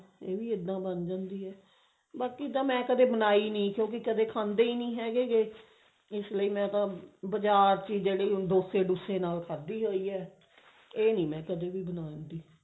ਇਹ ਵੀ ਇੱਦਾਂ ਬਣ ਜਾਂਦੀ ਹੈ ਬਾਕੀ ਤਾਂ ਮਾਈ ਕਦੇ ਬਣਾਈ ਨੀ ਕੁੰਕੀ ਕਦੇ ਖਾਂਦੇ ਹੀ ਨਹੀ ਹੈਗੇ ਇਸ ਲਈ ਮੈਂ ਤਾਂ ਬਾਜ਼ਾਰ ਚ ਜਿਹੜੀ ਡੋਸੇ ਦੂਸੇ ਨਾਲ ਖਾਦੀ ਹੋਈ ਹੈ ਇਹ ਨੀ ਮਾਈ ਕਦੇ ਵੀ ਬਣਾਉਂਦੀ